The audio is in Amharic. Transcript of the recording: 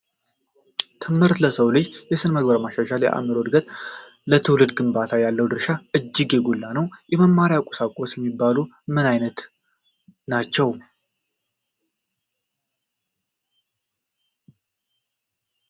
ትምህር ለሰው ልጅ የስነምግባር መሻሻል፣ ለአይምሮ እድገት እና ለትውልድ ግንባታ ያለው ድርሻ እጅግ የጎላ ነው። የመማሪያ ቁሳቁስ የሚባሉት ምን ምን ናቸው።